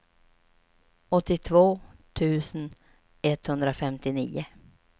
åttiotvå tusen etthundrafemtionio